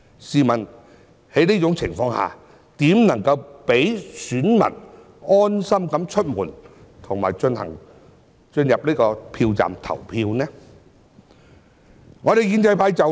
試問在這種情況下，如何能讓選民安心出門及進入票站投票呢？